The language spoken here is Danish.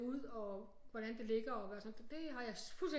Ud og hvordan det ligger og sådan noget det har jeg fuldstændig